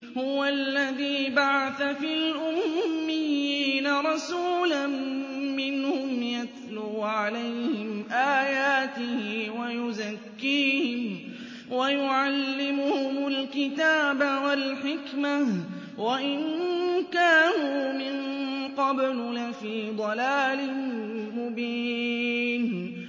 هُوَ الَّذِي بَعَثَ فِي الْأُمِّيِّينَ رَسُولًا مِّنْهُمْ يَتْلُو عَلَيْهِمْ آيَاتِهِ وَيُزَكِّيهِمْ وَيُعَلِّمُهُمُ الْكِتَابَ وَالْحِكْمَةَ وَإِن كَانُوا مِن قَبْلُ لَفِي ضَلَالٍ مُّبِينٍ